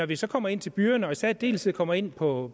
vi så kommer ind til byerne og i særdeleshed kommer ind på